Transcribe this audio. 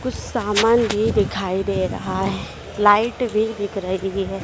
कुछ सामान भी दिखाई दे रहा है लाइट भी दिख रही है।